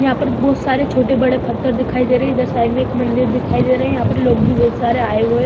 यहाँ पर बहोत सारे छोटे बड़े फत्थर दिखाई दे रहें है इधर साइड में एक मंदिर दिखाई दे रहें है यहाँ पर लोग भी बहुत सारे आए हुए --